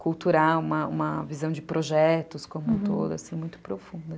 cultural uma uma visão de projetos como um todo, assim, muito profunda.